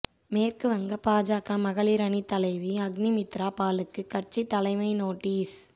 மேற்கு வங்க பாஜக மகளிர் அணித் தலைவி அக்னிமித்ரா பாலுக்கு கட்சி தலைமை நோட்டீஸ்